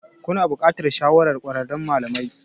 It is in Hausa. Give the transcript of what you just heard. Kuna buƙatar shawarar ƙwararren malami.